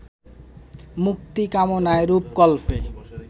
মুক্তিকামনায় রূপকল্পে